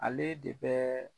Ale de bɛ